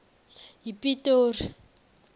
yipitori